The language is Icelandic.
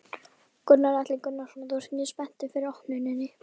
Gunnar Atli Gunnarsson: Þú ert mjög spenntur fyrir opnuninni?